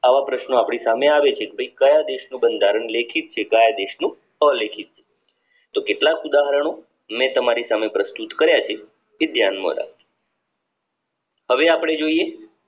આવા પ્રશ્નો અપડે સામે આવી છે કે ભાઈ કયા દેશનું બંધારણ લેખિત છે કયા દેશનું અલેખિત છે તો કેટલાક ઉદાહરણો મેં તમારી સામે પ્રસ્તુત કર્યા છે તે ધ્યાન માં રાખજો હવે અપડે જોઈએ